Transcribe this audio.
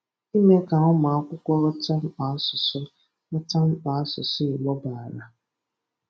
Ime ka ụmụbakwụkwọ ghọta mkpa asụsụ ghọta mkpa asụsụ Igbo bara